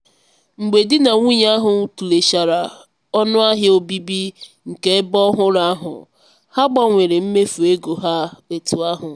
mgbe di na nwunye ahụ tụlechara ọnụ ahịa obibi nke ebe ọhụrụ ahụ ha gbanwere mmefu ego ha etú ahụ.